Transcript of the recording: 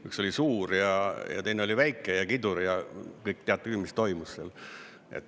Üks oli suur ja teine oli väike ja kidur, ja kõik te teate küll, mis toimus seal.